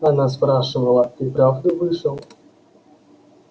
она спрашивала ты правда вышел